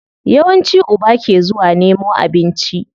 Yawanci uba ke zuwa nemo abinci.